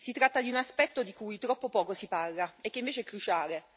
Si tratta di un aspetto di cui troppo poco si parla e che invece è cruciale.